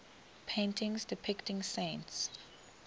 paintings depicting saints